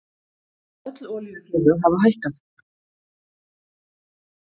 Öll olíufélög hafa hækkað